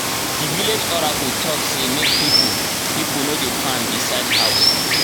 the village oracle talk sey make people people no dey farm beside housse